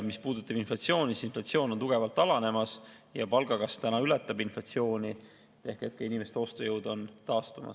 Mis puudutab inflatsiooni, siis inflatsioon on tugevalt alanemas, ja palgakasv täna ületab inflatsiooni ehk inimeste ostujõud on taastumas.